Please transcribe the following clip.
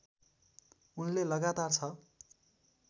उनले लगातार छ